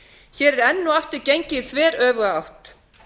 hér er enn og aftur gengið í þveröfuga átt